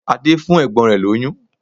Ade impregnated his sister